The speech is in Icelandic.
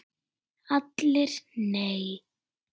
ALLIR: Nei!